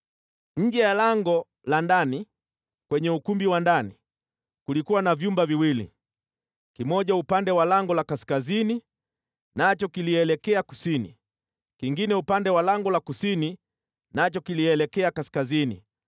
Nje ya lango la ndani, kwenye ukumbi wa ndani, kulikuwa na vyumba viwili, kimoja upande wa lango la kaskazini nacho kilielekea kusini, kingine upande wa lango la kusini nacho kilielekea kaskazini.